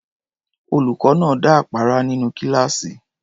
Olùkọ́ náà dá àpárá nínú kíláàsì.